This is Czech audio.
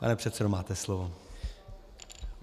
Pane předsedo, máte slovo.